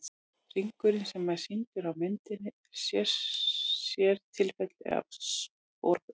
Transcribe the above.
Hringurinn sem er sýndur á myndinni er sértilfelli af sporbaug.